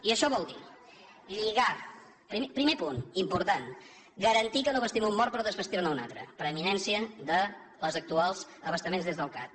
i això vol dir primer punt important garantir que no vestim un mort per desvestir ne un altre preeminència dels actuals abastaments des del cat